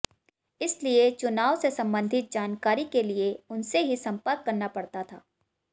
इसलिए चुनाव से संबंधित जानकारी के लिए उनसे ही संपर्क करना पड़ता था